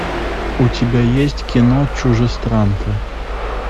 у тебя есть кино чужестранка